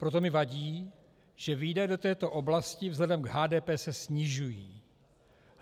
Proto mi vadí, že výdaje do této oblasti vzhledem k HDP se snižují.